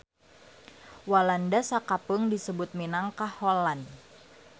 Walanda sakapeung disebut minangka Holland.